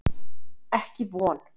Ekki von.